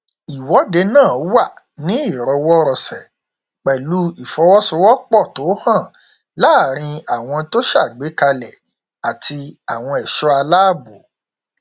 ìwọdé náà wà ní ìrọwọ rọsẹ pẹlú ìfọwọsowọpọ tó hàn láàrin àwọn tó ṣàgbékalẹ àti àwọn ẹṣọ aláàbò